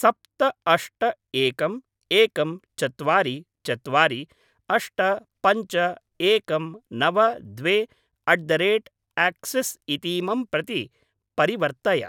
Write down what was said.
सप्त अष्ट एकम् एकं चत्वारि चत्वारि अष्ट पञ्च एकं नव द्वे अट् द रेट् आक्सिस् इतीमं प्रति परिवर्तय।